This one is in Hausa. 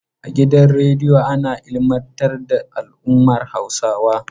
A gidan radiyo ana ilmantar da al'ummar Hausawa.